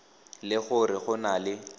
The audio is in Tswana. le gore go na le